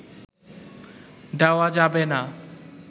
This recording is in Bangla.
দেওয়া যাবে না